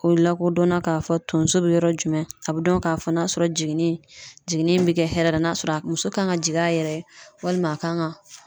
O lakodɔn na ka fɔ tonso be yɔrɔ jumɛn a bi dɔn ka fɔ n'a sɔrɔ jiginni, jiginni be kɛ hɛrɛ la, n'a sɔrɔ a muso kan ka jigin a yɛrɛ ye walima a kan ka